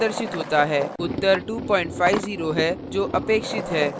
return 0; type करें और ending curly bracket बंद करें